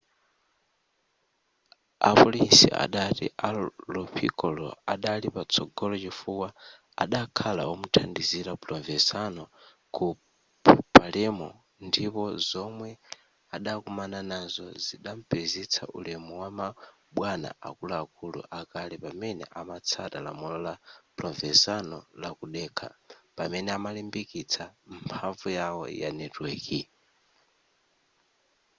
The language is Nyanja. apolisi adati a lo piccolo adali patsogolo chifukwa adakhala omuthandizira provenzano ku palermo ndipo zomwe adakumana nazo zidampezetsa ulemu wama bwana akuluakulu akale pamene amatsata lamulo la provenzano la kudekha pamene amalimbikitsa mphamvu yawo ya netiweki